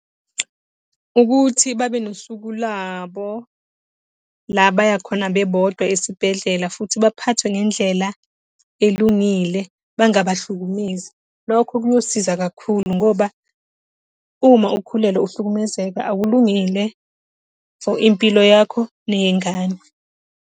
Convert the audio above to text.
Ukuthi babe nosuku labo, la abaya khona bebodwa esibhedlela futhi baphathwe ngendlela elungile, bangabahlukumezi. Lokho kuyosiza kakhulu ngoba, uma ukhulelwe uhlukumezeka, akulungile for impilo yakho neyengane.